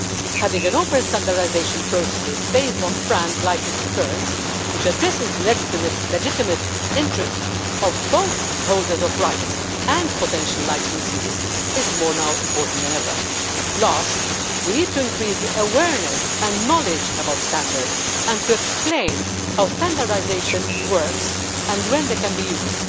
Having open standardisation processes based on FRAND licensing terms, which address the legitimate interests of both the holders of rights and potential licensees, is now more important than ever. Finally, we need to increase the awareness and knowledge about standards and to explain how standardisation works and when it can be used.